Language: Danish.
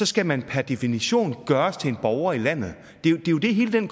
skal man per definition gøres til borger i landet det er jo det hele den